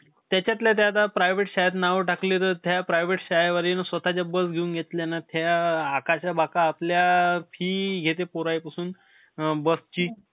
जास्त गरीब होत ते, MC स्टॅन. त्याने लई नाई का गरिबी बघितली. त्या~ ग आता जे ने गमिरी बघी~ गमी~ अं गरिबी बघितली ना,